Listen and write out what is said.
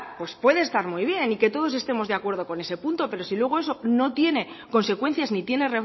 pues puede está muy bien y que todos estemos de acuerdo con ese punto pero si luego eso no tiene consecuencias ni tiene